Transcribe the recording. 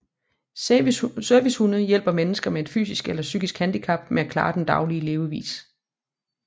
Servicehunde hjælper mennesker med et fysisk eller psykisk handicap med at klare den daglige levevis